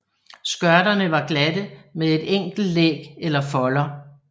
Skørterne var glatte med et enkelt læg eller folder